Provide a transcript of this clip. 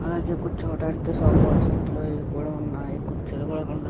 అలాగే కూర్చోడానికి sofa set లు అవి కూడా వున్నాయి కుర్చీలు --